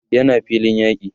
yana filin yaki